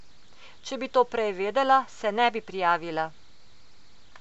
Če bi to prej vedela, se ne bi prijavila.